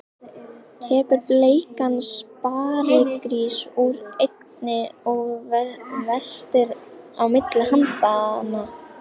Tekur bleikan sparigrís úr einni og veltir á milli handanna.